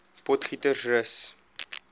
potgietersrus